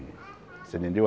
Você entendeu?